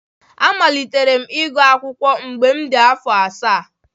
Amalitere m ịgụ akwukwo mgbe m dị afọ asaa.